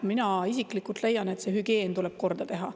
Mina isiklikult leian, et see hügieen tuleb korda teha.